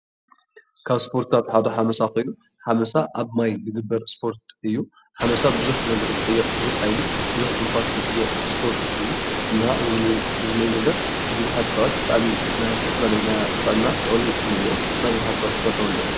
ካብ ስፖርትታት ሓደ ሓመሳ ኮይኑ ሓመሳ ኣብ ማይ ዝግበር ስፖርት እዩ፡፡ ሓመሳ ቡዙሕ ነገር ዝጥይቅ ቡዙሕ ሓይሊ ቡዙሕ ትንፋስ ዝጥይቅ ስፖርት እዩ፡፡ እና እዚ ዝነሄ ነገር ቡዙሓት ሰባት ብጣዕሚ ናይ ዝተፈላለዩ ጥዕና ጥቅሚ እኒሀዎ፡፡ እና ቡዙሓት ሰባት ክሰርሕዎ እንሄዎም፡፡